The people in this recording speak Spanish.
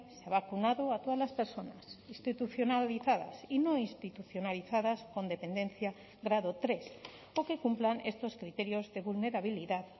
se ha vacunado a todas las personas institucionalizadas y no institucionalizadas con dependencia grado tres o que cumplan estos criterios de vulnerabilidad